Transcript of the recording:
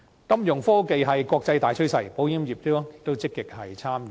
金融科技是國際大趨勢，保險業亦積極參與。